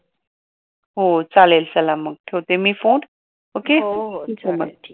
हो चालेल चला मग ठेवते मी फोन ओके